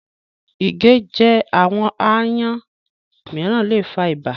Ìgéjẹ àwọn aáyán mìíràn le fa ibà.